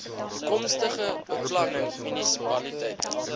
toekomstige beplanning munisipaliteite